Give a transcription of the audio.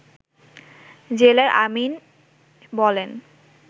জেলার আমীন বলেন